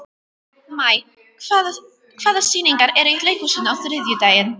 Maj, hvaða sýningar eru í leikhúsinu á þriðjudaginn?